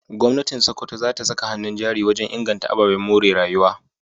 Gwamnatin Sokoto za ta saka hannun jari wajen inganta ababen more rayuwa.